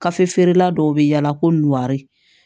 Gafe feerela dɔw bɛ yaala ko nukari